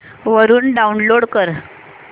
वरून डाऊनलोड कर